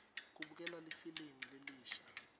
kubukelwa lifilimu lelisha